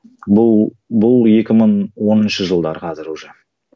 бұл бұл екі мың оныншы жылдар қазір уже